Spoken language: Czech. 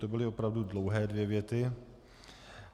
To byly opravdu dlouhé dvě věty.